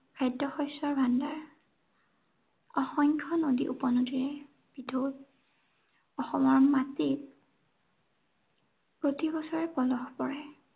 খাদ্য় শস্য়ৰ ভাণ্ডাৰ অসংখ্য় নদী-উপনদীৰে অসমৰ মাটি প্ৰতি বছৰে পলস পৰে।